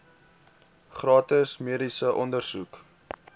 gratis mediese ondersoeke